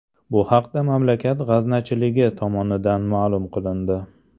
Bu haqda mamlakat g‘aznachiligi tomonidan ma’lum qilindi .